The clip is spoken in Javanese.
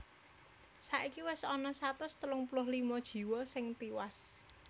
Saiki wis ana satus telung puluh limo jiwa sing tiwas